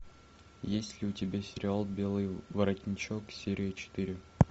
есть ли у тебя сериал белый воротничок серия четыре